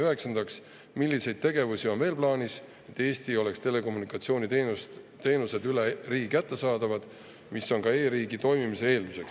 Üheksandaks, milliseid tegevusi on veel plaanis, et Eestis oleks telekommunikatsiooniteenused üle riigi kättesaadavad, mis on ka e-riigi toimimise eelduseks?